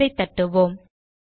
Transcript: என்டரை தட்டுவோம்